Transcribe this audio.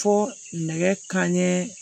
Fo nɛgɛ kanɲɛ